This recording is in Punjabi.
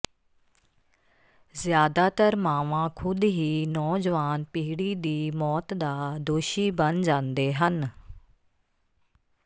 ਜ਼ਿਆਦਾਤਰ ਮਾਵਾਂ ਖੁਦ ਹੀ ਨੌਜਵਾਨ ਪੀੜ੍ਹੀ ਦੀ ਮੌਤ ਦਾ ਦੋਸ਼ੀ ਬਣ ਜਾਂਦੇ ਹਨ